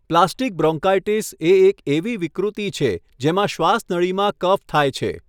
Plastic bronchitis એ એક એવી વિકૃતિ છે જેમાં શ્વાસનળીમાં કફ થાય છે.